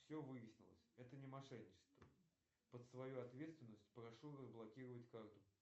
все выяснилось это не мошенничество под свою ответственность прошу разблокировать карту